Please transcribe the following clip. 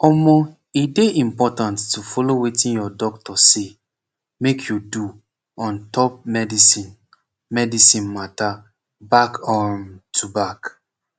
omoh e dey important to follow wetin your doctor say make you do ontop medicine medicine mata back um to back